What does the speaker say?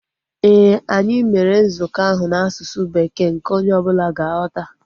Éè, anyị mere nzukọ ahu n'asụsụ Bekee nke onye ọbụla ga-aghọta